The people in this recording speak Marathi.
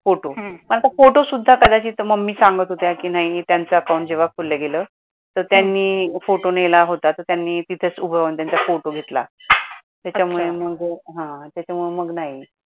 photo मग आता फोटो सुद्धा कदाचित मम्मी सांगत होत्या कि नाही त्याचं account जेव्हा खोलल्या गेलं तर त्यांनी photo नेला होतं तर त्यांनी तिथच उभा राहून त्यांचा photo घेतला तेच्यामुळे मग, ह तेच्यामुळे मग नाही